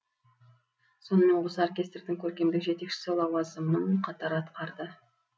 сонымен қоса оркестрдің көркемдік жетекшісі лауазымын қатар атқарды